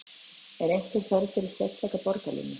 Er einhver þörf fyrir sérstaka borgarlínu?